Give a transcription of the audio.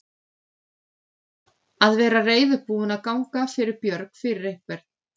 Að vera reiðubúinn að ganga fyrir björg fyrir einhvern